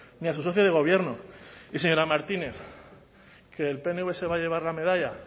ni a su socio de gobierno y señora martínez que el pnv se va a llevar la medalla